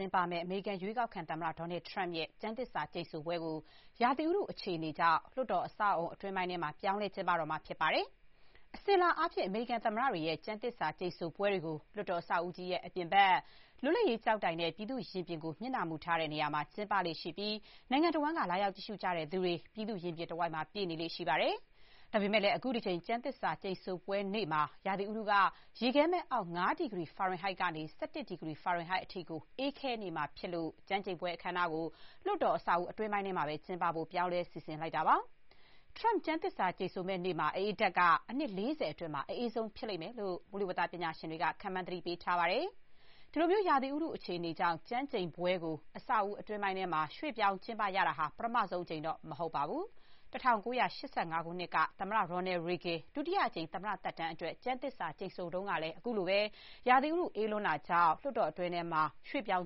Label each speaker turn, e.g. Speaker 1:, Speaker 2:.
Speaker 1: င်းပမယ့် အမေရိကန် ရွေးကောက်ခံ သမ္မတ ဒေါ်နယ်ထရမ့်ရဲ့ ကျမ်းသစ္စာ ကျိန်ဆိုပွဲကို ရာသီဥတု အခြေအနေကြောင့် လွှတ်တော် အဆောက်အအုံ အတွင်းပိုင်းမှာ ပြောင်းလဲ ကျင်းပတော့မှာဖြစ်ပါတယ်။ အစဥ်အလာအားဖြင့် အမေရိကန်သမ္မတတွေရဲ့ ကျမ်းသစ္စာ ကျိန်ဆိုပွဲတွေကို လွှတ်တော် အဆောက်အဦကြီးရဲ့ အပြင်ဘက် လွှတ်လပ်ရေးကျောက်တိုင်နဲ့ ပြည်သူ့ရင်ပြင်ကို မျက်နှာမူထားတဲ့ နေရာမှာ ကျင်းပလေ့ရှိပြီး နိုင်ငံတဝန်းက လာရောက် ကြည့်ရှုကြသူတွေ ပြည်သူ့ရင်ပြင်တဝိုက် ပြည့်နေလေ့ရှိပါတယ်။ ဒါပေမဲ့လည်း အခုတကြိမ် ကျမ်းသစ္စာ ကျိန်ဆိုပွဲနေ့မှာ ရာသီဥတုက ရေခဲမှတ်အောက် ၅ ဒီဂရီ ဖာရင်ဟိုက်ကနေ ၁၁ ဒီဂရီ ဖာရင်ဟိုက်အထိ အေးခဲနေမှာဖြစ်လို့ ကျမ်းကျိန်ပွဲ အခမ်းအနားကို လွှတ်တော် အဆောက်အဦကြီးထဲမှာပဲ ကျင်းပဖို့ ပြောင်းလဲ စီစဥ်လိုက်တာပါ။ Trump ကျမ်းသစ္စာ ကျိန်ဆိုမယ့်နေ့မှာ အအေးဓာတ်က အနှစ် ၄၀ အတွင်း အအေးဆုံး ဖြစ်လိမ့်မယ်လို့ မိုးလေဝသ ပညာရှင်တွေက ခန့်မှန်း သတိပေး ထားပါတယ်။ အခုလိုမျိုး ရာသီဥတု အခြေအနေကြောင့် ကျမ်းကျိန်ပွဲကို အဆောက်အဦး အတွင်းပိုင်းကို ရွှေ့ပြောင်း ကျင်းပရတာဟာ ပထမဆုံးအကြိမ်တော့ မဟုတ်ပါဘူး။ ၁၉၈၅ ခုနှစ်က သမ္မတ Ronald Reagan ဒုတိယအကြိမ် သမ္မတ သက်တမ်းအတွက် ကျမ်းသစ္စာ ကျိန်ဆိုတုန်းကလည်း အခုလိုပဲ ရာသီဥတု အေးလွန်းတာကြောင့် အတွင်းကို ရွှေ့ပြောင်